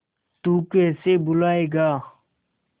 तू कैसे भूलाएगा